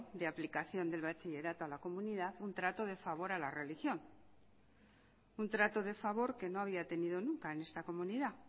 de aplicación de bachillerato a la comunidad un trato de favor a la religión un trato de favor que no había tenido nunca en esta comunidad